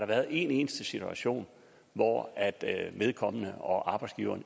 været en eneste situation hvor vedkommende og arbejdsgiveren